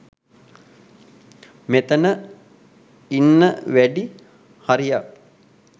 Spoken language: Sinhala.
මෙතන ඉන්න වැඩි හරියක්